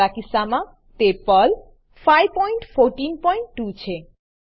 મારા કિસ્સામાં તે પર્લ 5142 છે